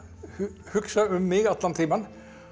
hugsa um mig allan tímann